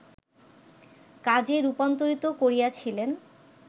কাজে রূপান্তরিত করিয়াছিলেন